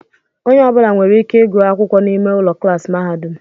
Onye ọbula nwèrè ike ịgụ akwụkwọ n'ime ụlọ klaasi mahadum.